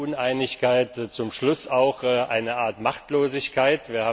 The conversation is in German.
Da war die Uneinigkeit zum Schluss auch eine Art Machtlosigkeit.